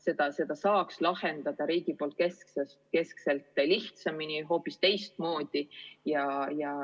Riik saaks selle lahendada keskselt, lihtsamini, hoopis teistmoodi.